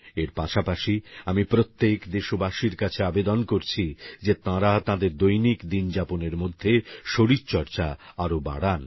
এর পাশাপাশি আমি প্রত্যেক দেশবাসীর কাছে আবেদন করছি যে তাঁরা তাঁদের দৈনিক দিনযাপনের মধ্যে শরীর চর্চা আরো বাড়ান